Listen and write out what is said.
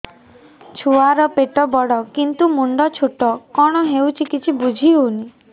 ଛୁଆର ପେଟବଡ଼ କିନ୍ତୁ ମୁଣ୍ଡ ଛୋଟ କଣ ହଉଚି କିଛି ଵୁଝିହୋଉନି